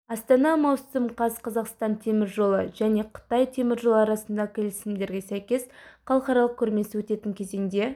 астана маусым қаз қазақстан темір жолы және қытай теміржолы арасындағы келісімдерге сәйкес халықаралық көрмесі өтетін кезеңде